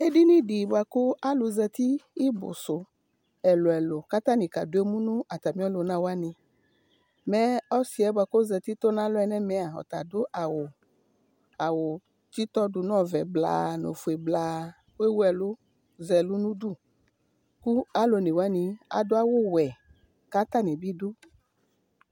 Edinidi buaku alu zati ibusu ɛluɛlu katani aka demu natamiɔlunawani Mɛɛ ɔsiɛ buakɔzati tɔnalɔ nɛmɛa ɔtadu awu tsitɔ du nɔvɛ blaa nofue blaa kuewu ɛlu zɛlu nudu kalu onewani aduawuwɛ kata nibi du